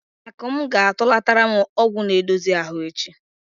Akụm ga-atụlatara m ọgwụ na-edozi ahụ echi.